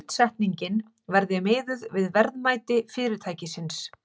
Skuldsetningin verði miðuð við verðmæti fyrirtækisins